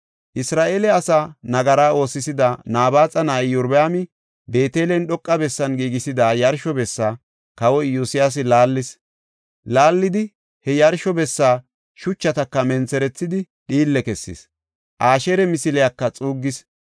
Isra7eele asaa, nagara oosisida Nabaaxa na7ay Iyorbaami Beetelen dhoqa bessan giigisida yarsho bessa Kawoy Iyosyaasi laallis. Laallidi he yarsho bessa shuchataka mentherethidi, dhiille kessis; Asheeri misiliyaka xuuggis.